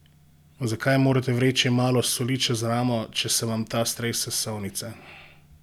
Zakaj morate vreči malo soli čez ramo, če se vam ta strese iz solnice?